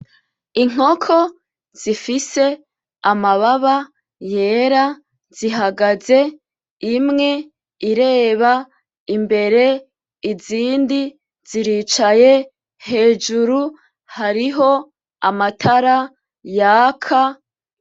Inkoko zifise amababa yera zihagaze imwe ireba imbere izindi ziricaye, hejuru hariho amatara yaka